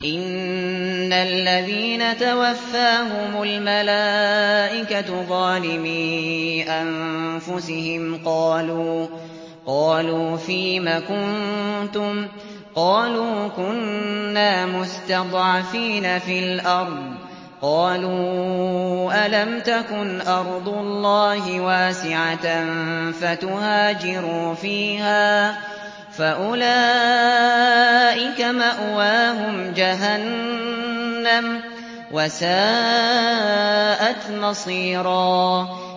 إِنَّ الَّذِينَ تَوَفَّاهُمُ الْمَلَائِكَةُ ظَالِمِي أَنفُسِهِمْ قَالُوا فِيمَ كُنتُمْ ۖ قَالُوا كُنَّا مُسْتَضْعَفِينَ فِي الْأَرْضِ ۚ قَالُوا أَلَمْ تَكُنْ أَرْضُ اللَّهِ وَاسِعَةً فَتُهَاجِرُوا فِيهَا ۚ فَأُولَٰئِكَ مَأْوَاهُمْ جَهَنَّمُ ۖ وَسَاءَتْ مَصِيرًا